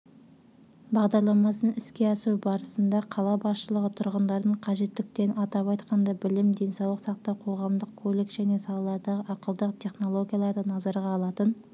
бағдарламасын іске асыру барысында қала басшылығы тұрғындардың қажеттіліктерін атап айтқанда білім денсаулық сақтау қоғамдық көлік және салалардағы ақылды технологияларды назарға алатын